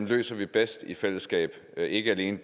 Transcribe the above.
løser vi bedst i fællesskab ikke alene